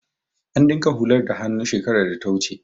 An dinka hular da hannu shekarar data wuce